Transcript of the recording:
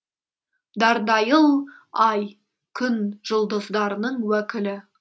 дардайыл ай күн жұлдыздарының уәкілі